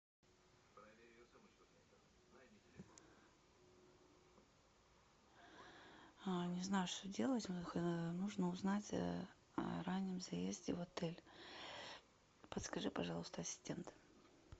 не знаю что делать нужно узнать о раннем заезде в отель подскажи пожалуйста ассистент